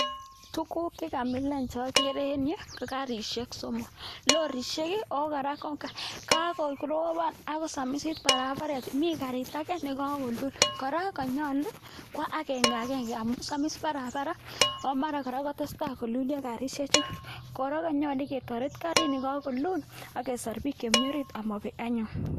Tukuk chekamilan chokere en yu, ko karishek somok. Lorishek ako kora ko kakoropan akosamisit barabaret, mi karit age neka kolul kora kanyolu kowa agenge agenge amun samis barabara ako mara kora kotestai kolulyo karishechan. Kora kanyolu ketoret karit nekakolul ak kesor pik chemi orit amabek anyun.